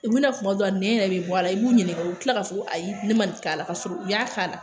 U bɛna kuma dɔw la nɛn yɛrɛ bɛ bɔ a la, i b'u ɲininga, u bɛ kila ka fɔ ko ayi ne ma nin k'a la, ka sɔrɔ u y'a k'a la.